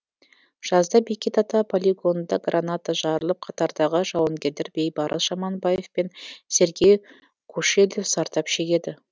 жазда бекет ата полигонында граната жарылып қатардағы жауынгерлер бейбарыс жаманбаев пен сергей кошелев зардап шегеді